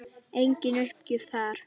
Engin uppgjöf þar.